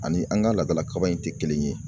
Ani an ka laadala kaba in tɛ kelen ye